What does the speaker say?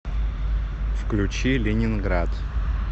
включи ленинград